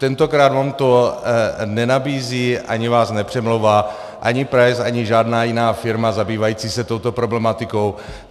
Tentokrát vám to nenabízí, ani vás nepřemlouvá, ani price, ani žádná jiná firma zabývající se touto problematikou.